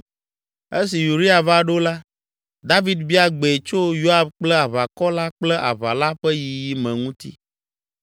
Esi Uria va ɖo la, David bia gbee tso Yoab kple aʋakɔ la kple aʋa la ƒe yiyi me ŋuti.